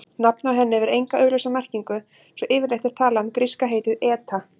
Nafnið á henni hefur enga augljósa merkingu svo yfirleitt er talað um gríska heitið eta.